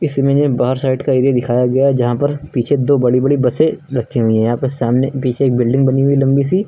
इस इमेज में बाहर साइड का एरिया दिखाया गया है जहां पर पीछे दो बड़ी बड़ी बसे रखी हुई यहां पे सामने पीछे एक बिल्डिंग बनी हुई है लंबी सी।